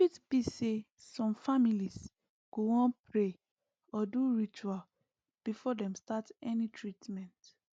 e fit be say some families go wan pray or do ritual before dem start any treatment